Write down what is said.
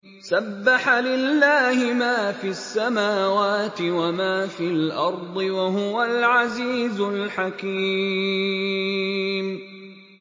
سَبَّحَ لِلَّهِ مَا فِي السَّمَاوَاتِ وَمَا فِي الْأَرْضِ ۖ وَهُوَ الْعَزِيزُ الْحَكِيمُ